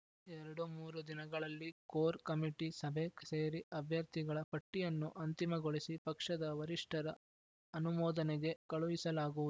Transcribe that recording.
ಎರಡು ಮೂರು ದಿನಗಳಲ್ಲಿ ಕೋರ್ ಕಮಿಟಿ ಸಭೆ ಸೇರಿ ಅಭ್ಯರ್ಥಿಗಳ ಪಟ್ಟಿಯನ್ನು ಅಂತಿಮಗೊಳಿಸಿ ಪಕ್ಷದ ವರಿಷ್ಠರ ಅನುಮೋದನೆಗೆ ಕಳುಹಿಸಲಾಗುವುದು